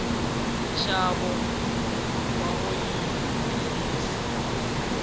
nxavo wa oyili yimbisi